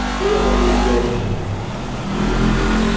что я могу сделать